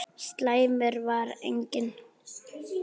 Slæmur var einnig